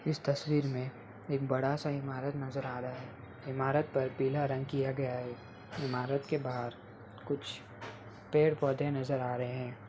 इस तस्वीर में एक बड़ा सा इमारत नज़र आ रहा है| इमारत पर पिला रंग किया गया है| इमारत के बाहर कुछ पेड़-पौधे नजर आ रहे हैं।